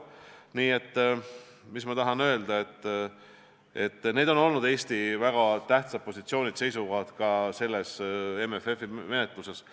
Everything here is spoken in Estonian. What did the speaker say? Nii et ma tahan öelda, et need on olnud Eesti väga tähtsad positsioonid ja seisukohad ka MFF-i menetluses.